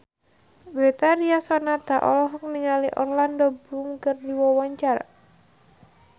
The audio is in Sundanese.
Betharia Sonata olohok ningali Orlando Bloom keur diwawancara